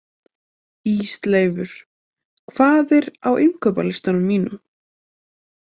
Ísleifur, hvað er á innkaupalistanum mínum?